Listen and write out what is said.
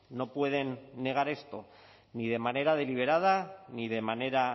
no pueden negar esto ni de manera deliberada ni de manera